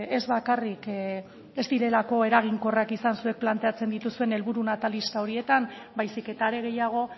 ez bakarrik ez direlako eraginkorrak izan zuek planteatzen dituzuen helburu natalista horietan baizik eta are gehiago